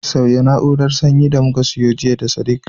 Sauya na'urar sanyi da muka siyo jiya Sadiq